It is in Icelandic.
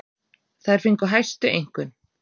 Þær fengu hæstu einkunn.